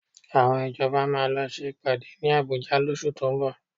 Àwọn ìjọba máa lọ ṣe ìpàdé ní Àbújá lóṣù tó ń bọ̀